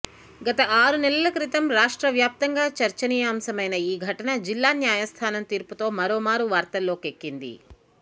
గత ఆరు నెలల క్రితం రాష్ట్ర వ్యాప్తంగా చర్చనీయాంశమైన ఈ ఘటన జిల్లా న్యాయస్థానం తీర్పుతో మరోమారు వార్తల్లోకెక్కింది